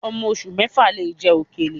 Ọmọ oṣù mẹ́fà lè jẹ òkèlè